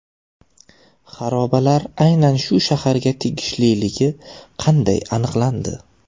xarobalar aynan shu shaharga tegishliligi qanday aniqlandi?